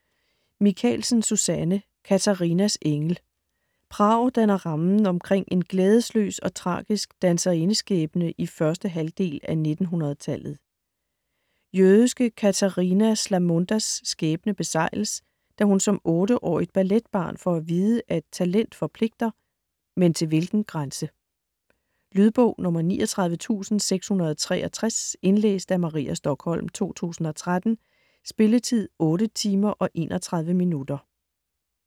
Michaelsen, Susanne: Katarinas engel Prag danner rammen omkring en glædesløs og tragisk danserindeskæbne i første halvdel af 1900-tallet. Jødiske Katarina Szlamundas skæbne besegles, da hun som 8-årigt balletbarn får at vide, at talent forpligter - men til hvilken grænse? Lydbog 39663 Indlæst af Maria Stokholm, 2013. Spilletid: 8 timer, 31 minutter.